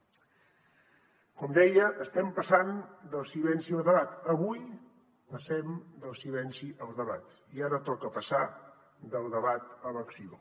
com deia estem passant del silenci al debat avui passem del silenci al debat i ara toca passar del debat a l’acció